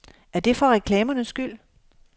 Er det for reklamernes skyld?